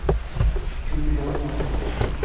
Hildegard Wall